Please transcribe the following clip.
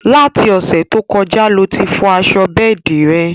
Láti Òsẹ̀ to kọjá lo tí fọ aṣọ bẹ́ẹ̀di rẹ̀